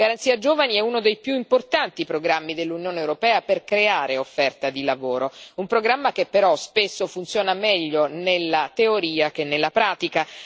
La Garanzia per i giovani è uno dei più importanti programmi dell'Unione europea per creare offerta di lavoro, un programma che, però, spesso funziona meglio nella teoria che nella pratica.